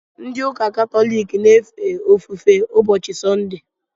Ndị ụka katọlik na-efe ofufe ụbọchị sọnde